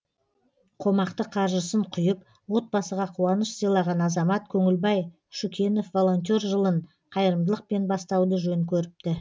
қомақты қаржысын құйып отбасыға қуаныш сыйлаған азамат көңілбай шүкенов волонтер жылын қайырымдылықпен бастауды жөн көріпті